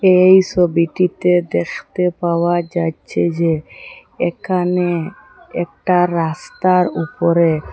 এই ছবিটিতে দেখতে পাওয়া যাচ্ছে যে এখানে একটা রাস্তার উপরে--